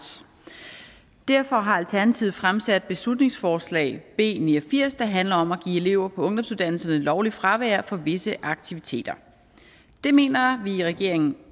derfor har alternativet fremsat beslutningsforslag b ni og firs der handler om at give elever på ungdomsuddannelserne lovligt fravær for visse aktiviteter det mener vi i regeringen